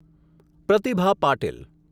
Pratibha Patil